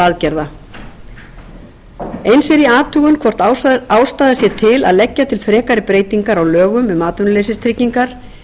aðgerða eins er í athugun hvort ástæða sé til að leggja fram frekari breytingar á lögum um atvinnuleysistryggingar